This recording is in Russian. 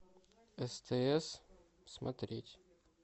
стс смотреть